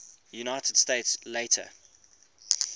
united states later